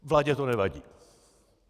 Vládě to nevadí.